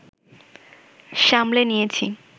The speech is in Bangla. সামলে নিয়েছি